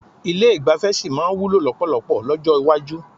Ilé ìgbafẹ́ sì máa wúlò lọ́pọ̀lọpọ̀ lọ́jọ́ iwájú.